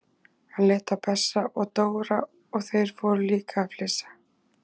Hann leit á Bessa og Dóra og þeir fóru líka að flissa.